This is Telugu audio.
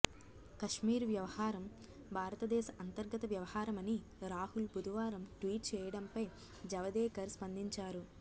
కశ్మీర్ వ్యవహారం భారతదేశ అంతర్గత వ్యవహారమని రాహుల్ బుధవారం ట్వీట్ చేయడంపై జవదేకర్ స్పందించారు